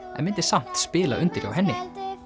en myndi samt spila undir hjá henni